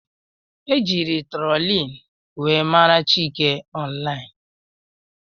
Ejiri trólin wee mara Chike ọnlain.